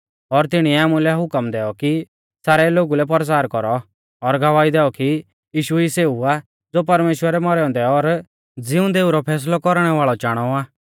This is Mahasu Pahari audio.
और तिणीऐ आमुलै हुकम दैऔ कि सारै लोगु लै परचार कौरौ और गवाही दैऔ कि यीशु ई सेऊ आ ज़ो परमेश्‍वरै मौरै औन्दै और ज़िउंदै ऊ रौ फैसलै कौरणै वाल़ौ चाणौ आ